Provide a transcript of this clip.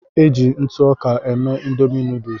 Eji ntụ ọka mee Ịndomì nuduls.